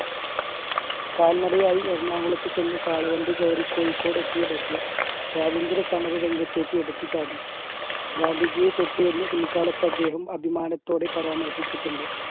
കാൽനടയായി എറണാകുളത്ത് ചെന്ന് കാളവണ്ടി കയറി കോഴിക്കോട് എത്തിയ ബഷീർ സ്വാതന്ത്ര്യ സമര രംഗത്തേക്ക് എടുത്തുചാടി. ഗാന്ധിജിയെ തൊട്ടു എന്ന് പിൽക്കാലത്ത് അദ്ദേഹം അഭിമാനത്തോടെ പരാമർശിച്ചിട്ടുണ്ട്